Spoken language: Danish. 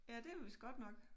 Ja det vist godt nok